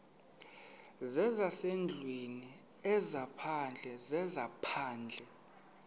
zezasendlwini ezaphandle zezaphandle